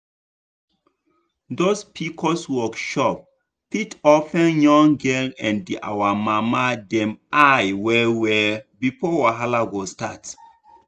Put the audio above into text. those pcos workshop fit open young girl and our mama dem eye well well before wahala go start.